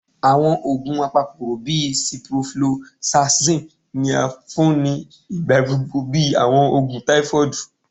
Awọn oogun apakokoro bii ciprofloxacin ni a fun ni igbagbogbo bi awọn oogun typhoid